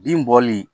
Bin bɔli